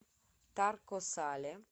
тарко сале